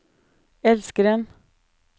elskeren